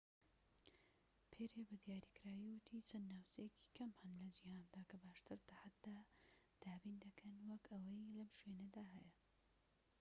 پێری بە دیاریکراوی وتی چەند ناوچەیەکی کەم هەن لە جیهاندا کە باشتر تەحەدا دابین دەکەن وەك ئەوەی لەم شوێنەدا هەیە